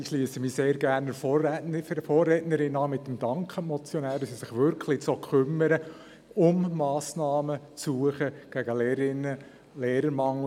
Ich schliesse mich sehr gern der Vorrednerin an mit dem Dank an die Motionäre, dass sie sich wirklich so kümmern, um Massnahmen gegen den Lehrerinnen- und Lehrermangel zu suchen.